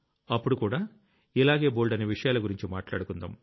అప్పుడుకూడా ఇలాగే బోల్డన్ని విషయాల గురించి మాట్లాడుకుందాం